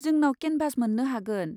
जोंनाव केनभास मोन्नो हागोन।